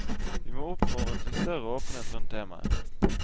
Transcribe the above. Vi må oppfordre til større åpenhet rundt temaet.